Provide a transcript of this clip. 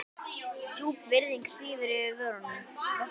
Djúp virðing svífur yfir vötnum.